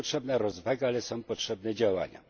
Jest potrzebna rozwaga, ale są potrzebne także działania.